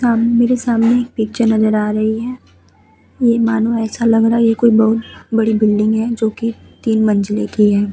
हम मेरे सामने एक पिक्चर नजर आ रही है। ये मानो ऐसा लग रहा है ये कोई बोहोत बड़ी बिल्डिंग है जो कि तीन मंजिले की हैं।